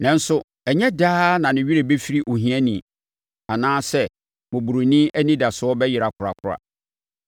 Nanso ɛnyɛ daa na ne werɛ bɛfiri ohiani, anaa sɛ mmɔborɔni anidasoɔ bɛyera korakora.